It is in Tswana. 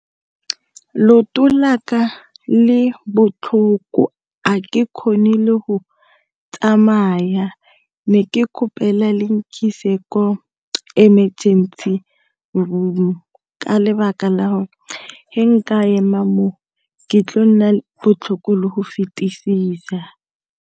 Looto la ka le botlhoko a ke kgone le go tsamaya ne ke kgopela le nkise ko emergency ka lebaka la gore ga nka ema mo ke tlile go nna le botlhoko le go fetisisa.